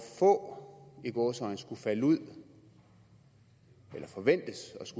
få i gåseøjne skulle falde ud eller forventes